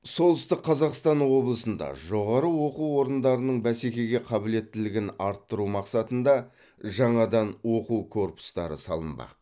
солтүстік қазақстан облысында жоғары оқу орындарының бәсекеге қабілеттілігін арттыру мақсатында жаңадан оқу корпустары салынбақ